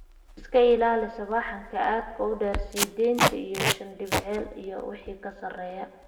Iska ilaali sawaxanka aadka u dheer (sideetan iyo shaan decibel iyo wixii ka sareeya).